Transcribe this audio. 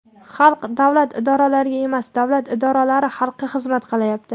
Xalq davlat idoralariga emas, davlat idoralari xalqqa xizmat qilyapti.